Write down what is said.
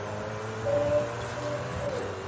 Ef þú vilt.